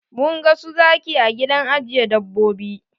Mun ga su zaki a gidan ajiye dabbobi.